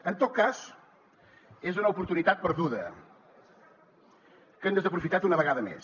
en tot cas és una oportunitat perduda que han desaprofitat una vegada més